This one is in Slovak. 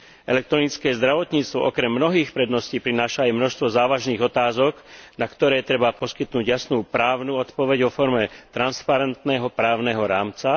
Elektronické zdravotníctvo okrem mnohých predností prináša aj množstvo závažných otázok, na ktoré treba poskytnúť jasnú právnu odpoveď vo forme transparentného právneho rámca.